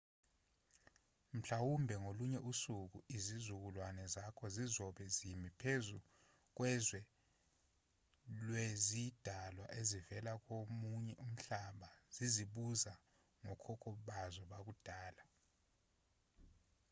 mhlawumbe ngolunye usuku izizukulwane zakho zizobe zimi phezu kwezwe lwezidalwa ezivela komunye umhlaba zizibuza ngokhokho bazo bakudala